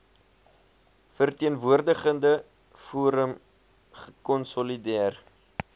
verteenwoordigende forum gekonsolideer